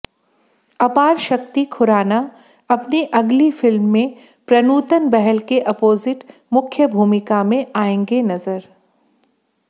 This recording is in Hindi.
अपारशक्ति खुराना अपनी अगली फिल्म में प्रनूतन बहल के अपोजिट मुख्य भूमिका में आएंगे नजर